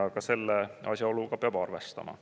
Ka selle asjaoluga peab arvestama.